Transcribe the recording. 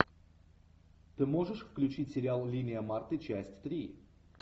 ты можешь включить сериал линия марты часть три